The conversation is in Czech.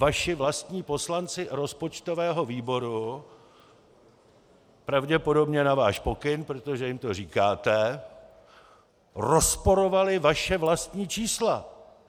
Vaši vlastní poslanci rozpočtového výboru, pravděpodobně na váš pokyn, protože jim to říkáte, rozporovali vaše vlastní čísla!